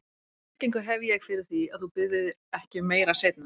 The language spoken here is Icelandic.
Hvaða tryggingu hef ég fyrir því, að þú biðjir ekki um meira seinna?